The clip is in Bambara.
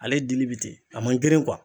Ale dili bi ten a man girin kuwa